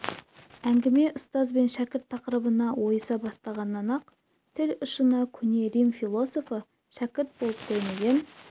әңгіме ұстаз бен шәкірт тақырыбына ойыса бастағаннан-ақ тіл ұшына көне рим философы шәкірт болып көрмеген